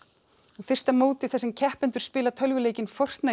fyrsta mótið þar sem keppendur spila tölvuleikinn